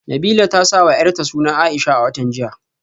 Nabilah ta sawa yarta suna Aisha a watan jiya